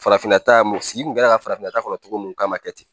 Farafinna taa mun sigi kun kɛlen don ka farafinna ta kɔni cogo mun k'an ka kɛ ten